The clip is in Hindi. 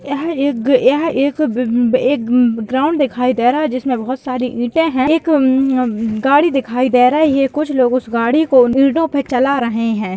यह एक यह एक ब एक ब ग्राउंड दिखाई दे रहा है जिसमे बहुत सारी ईटे है एक अं गाड़ी दिखाई दे रही है कुछ लोग उस गाड़ी को ईटो पे चला रहे है।